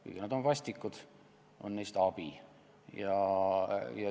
Kuigi nad on vastikud, on neist abi.